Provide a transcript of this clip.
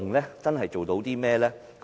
能真正做到甚麼呢？